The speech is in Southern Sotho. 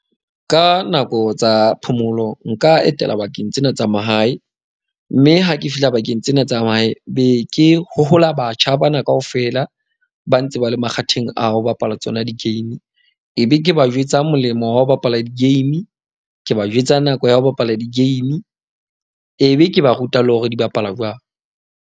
Ka nako tsa phomolo nka etela bakeng tsena tsa mahae, mme ha ke fihla bakeng tsena tsa mahae be ke hohola batjha bana kaofela. Ba ntse ba le makgatheng ao ho bapala tsona di-game. Ebe ke ba jwetsa molemo wa ho bapala di-game ke ba jwetsa nako ya ho bapala di-game. Ebe ke ba ruta le ho re di bapalwa jwang.